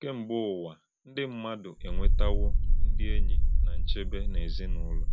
Kèmgbè̄ Ụ̀wà, ndị́ mmádụ̣ ènwètàwò̄ ndị́ ényì̄ na nchèbè̄ n’èzìnùlọ̀.